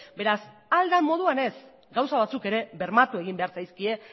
beraz ahal den moduan ez gauza batzuk ere bermatu egin behar zaizkie